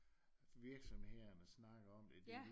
For virksomhederne snakker om det